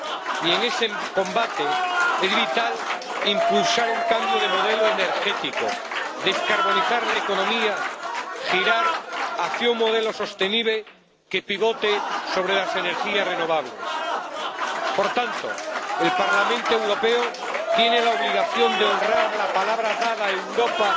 Y en ese combate es vital impulsar un cambio de modelo energético, descarbonizar la economía y girar hacia un modelo sostenible que pivote sobre las energías renovables. Por tanto, el Parlamento Europeo tiene la obligación de honrar la palabra dada a Europa,